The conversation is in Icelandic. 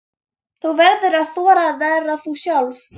Þú verður að þora að vera þú sjálf.